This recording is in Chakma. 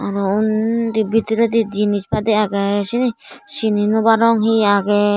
aro undi bidiredi jinis padi agey syeni sini naw parong hi agey.